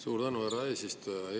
Suur tänu, härra eesistuja!